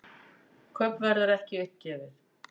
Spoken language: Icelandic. Kaupverð er ekki uppgefið.